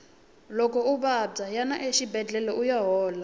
loko u vabya yana exibedlhele uya hola